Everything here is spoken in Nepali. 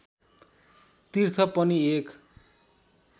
तीर्थ पनि एक